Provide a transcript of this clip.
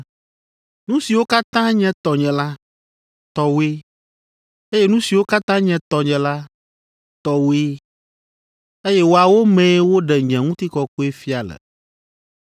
Nu siwo katã nye tɔnye la, tɔwòe, eye nu siwo katã nye tɔnye la, tɔwòe, eye woawo mee woɖe nye Ŋutikɔkɔe fia le.